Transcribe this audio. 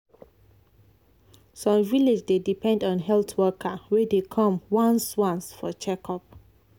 some village dey depend on health worker wey dey come once once for checkup.